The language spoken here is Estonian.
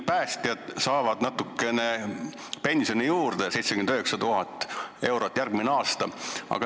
Päästjad saavad nüüd natukene pensioni juurde, kokku 79 000 eurot järgmisel aastal.